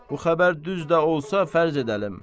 Bu xəbər düz də olsa fərz edəlim.